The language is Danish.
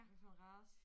Hvad for en race?